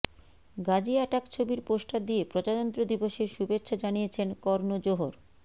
Gazi Attack ছবির poster দিয়ে প্রজাতন্ত্র দিবসের শুভেচ্ছা জানিয়েছেন কর্ণ জোহর